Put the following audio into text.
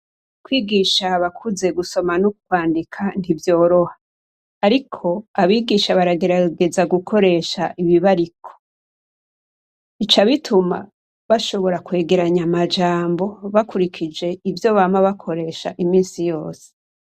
Kwigisha abakuze gusoma no kwandika ntivyoroha. Ariko abigisha baragerageza gukoresha ibibariko. Bica bituma bashobora kwegeranya amajambo bakurikije ivyo bama bakoresha imisi yose.